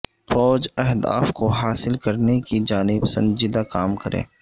فوج اہداف کو حاصل کرنے کی جانب سنجیدہ کام کرے